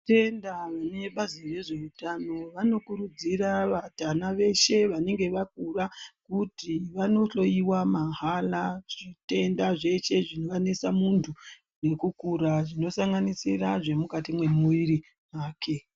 Tinotenda vebazi rezveutano vanokurudzira vatana veshe vanenge vakura kuti vanohloyiwa mahara zvitenda zveshe zvinganese munhu ngekukura zvinosanganisira zvemukati mwemuwiri wake.